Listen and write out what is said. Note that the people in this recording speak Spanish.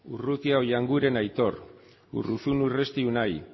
urrutia oianguren aitor urruzuno urresti unai